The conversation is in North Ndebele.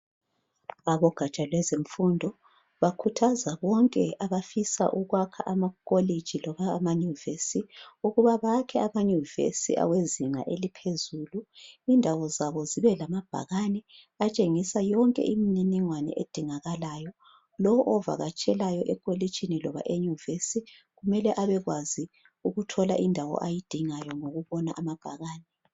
Abogatsha lwezemfundo bakhuthaza bonke abafisa ukwakha amakholitshi loba mayuvesi ukuba bakhe amayuvesi awezinga eliphezulu. Indawo zabo zibe lamabhakane atshengisa yonke imininingwane edingakalayo lowo ovakatshela ekolitshini loba eyuvesi kumele abekwazi ukuthola indawo ayidingayo ngokubona amabhakane.